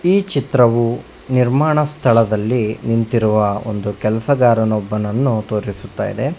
ಈ ಚಿತ್ರವು ನಿರ್ಮಾಣ ಸ್ಥಳದಲ್ಲಿ ನಿಂತಿರುವ ಒಂದು ಕೆಲಸಗಾರನೊಬ್ಬನನ್ನು ತೋರಿಸುತ್ತದೆ.